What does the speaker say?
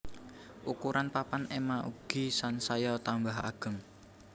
Ukuran papan ema ugi sansaya tambah ageng